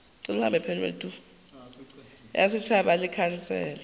ya setšhaba le khansele ya